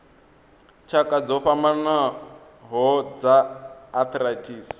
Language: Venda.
tshakha dzo fhambanaho dza arthritis